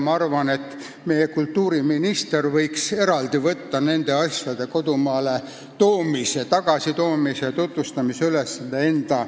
Ma arvan, et meie kultuuriminister võiks võtta enda peale nende teoste kodumaale toomise ja tutvustamise.